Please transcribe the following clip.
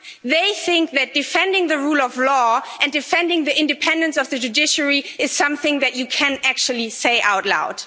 They think that defending the rule of law and defending the independence of the judiciary is something that you can actually say out loud.